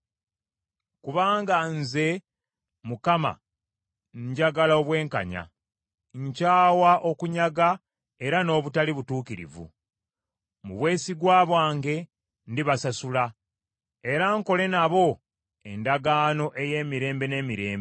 “Kubanga nze, Mukama , njagala obwenkanya, nkyawa okunyaga era n’obutali butuukirivu. Mu bwesigwa bwange ndibasasula era nkole nabo endagaano ey’emirembe n’emirembe.